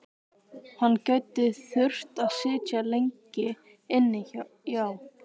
Hann gæti þurft að sitja lengi inni, já.